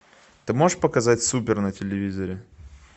ты можешь показать супер на телевизоре